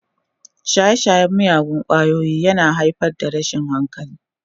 Shaye-shayen miyagun ƙwayoyi yana haifar da rashin hankali.